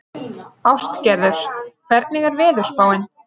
Ástgerður, hvernig er veðurspáin?